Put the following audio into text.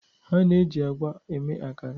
A na-eji agwa eme akara